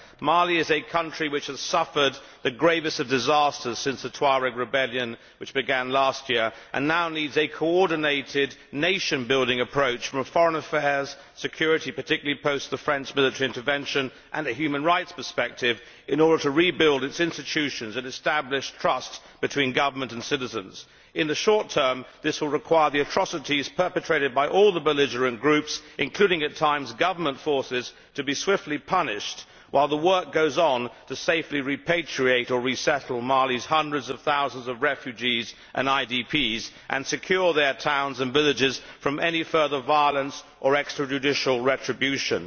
Mali is a country which has suffered the gravest of disasters since the Tuareg rebellion which began last year, and it now needs a coordinated nation building approach from a foreign affairs, security particularly following the French military intervention and human rights perspective in order to rebuild its institutions and establish trust between government and citizens. In the short term, this will require the atrocities perpetrated by all the belligerent groups, including at times government forces, to be swiftly punished, while the work goes on to safely repatriate or resettle Mali's hundreds of thousands of refugees and IDPs and secure their towns and villages from any further violence or extrajudicial retribution.